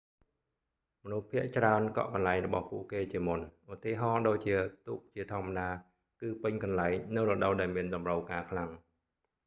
មនុស្សភាគច្រើនកក់កន្លែងរបស់ពួកគេជាមុន ឧទាហរណ៍ដូចជាទូកជាធម្មតាគឺពេញកន្លែងនៅរដូវដែលមានតម្រូវការខ្លាំង